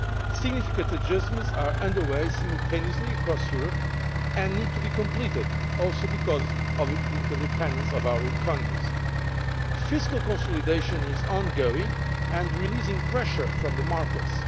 Significant adjustments are under way simultaneously across Europe and need to be completed, also because of the interdependence of our economies. Fiscal consolidation is ongoing and releasing pressure from the markets.